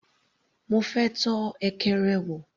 Mo fẹ́ tọ́ ekere wò.